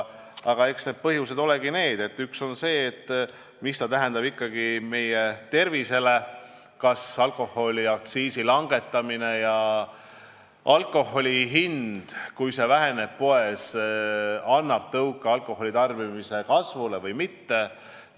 Aga eks üks põhjus olegi see, mida see tähendab ikkagi meie tervisele, kas alkoholiaktsiisi langetamine ja see, kui alkoholi hind poes väheneb, annab tõuke alkoholitarbimise kasvule või mitte.